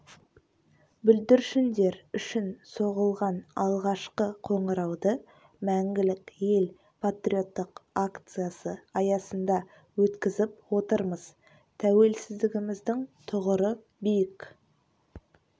бүлдіршіндер үшін соғылған алғашқы қоңырауды мәңгілік ел патриоттық акциясы аясында өткізіп отырмыз тәуелсіздігіміздің тұғыры биік